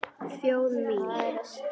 Þjóð mín!